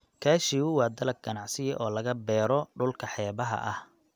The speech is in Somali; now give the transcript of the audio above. Cashew waa dalag ganacsi oo laga beero dhulka xeebaha ah.